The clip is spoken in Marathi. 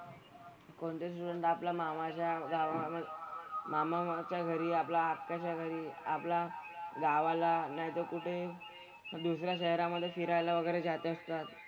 कोणते स्टुडंट आपला मामाच्या गावामधे मामाच्या घरी आपला आत्याच्या घरी आपला गावाला नाहीतर कुठे दुसऱ्या शहरामधे फिरायला वगैरे जात असतात.